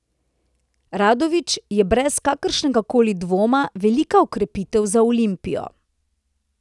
Radović je brez kakršnega koli dvoma velika okrepitev za Olimpijo.